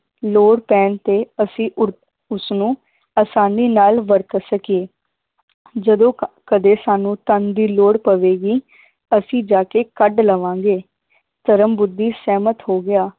ਲੋੜ ਪੈਣ ਤੇ ਅਸੀ ਉਰ ਉਸਨੂੰ ਆਸਾਨੀ ਨਾਲ ਵਰਤ ਸਕੀਏ ਜਦੋਂ ਕ ਕਦੇ ਸਾਨੂੰ ਧਨ ਦੀ ਲੋੜ ਪਵੇਗੀ ਅਸੀਂ ਜਾ ਕੇ ਕੱਢ ਲਵਾਂਗੇ ਧਰਮ ਬੁੱਧੀ ਸਹਿਮਤ ਹੋ ਗਿਆ